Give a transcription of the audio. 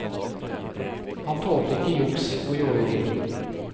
Han tålte ikke juks og jåleri.